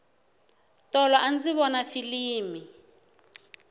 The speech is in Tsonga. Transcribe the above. tolo andzi vona filimi